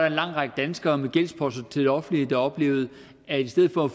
en lang række danskere med gældsposter til det offentlige der oplevede at i stedet for at